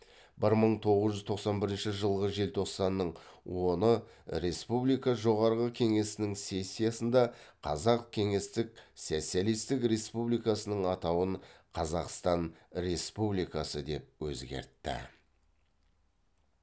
бір мың тоғыз жүз тоқсан бірінші жылғы желтоқсанның оны республика жоғарғы кеңесінің сессиясында қазақ кеңестік социалистік республикасының атауын қазақстан республикасы деп өзгертті